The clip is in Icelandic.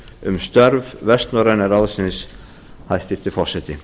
um störf vestnorræna ráðsins hæstvirtur forseti